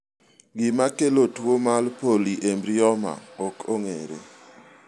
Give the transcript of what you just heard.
gima kelo tuo mar polyembryoma ok ong'ere